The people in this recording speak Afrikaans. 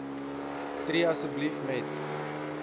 tree asseblief met